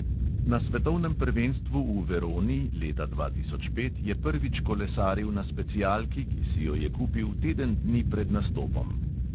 Na svetovnem prvenstvu v veroni leta dva tisoč pet je prvič kolesaril na specialki, ki si jo je kupil teden dni pred nastopom.